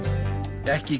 ekki